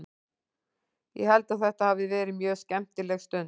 Ég held að þetta hafi verið mjög skemmtileg stund.